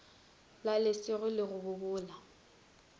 la lesego le go bobola